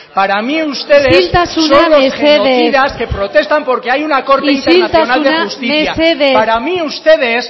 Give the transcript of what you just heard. para mí ustedes isiltasuna mesedez son los que protestan porque hay una corte nacional de justicia isiltasuna mesedez para mí ustedes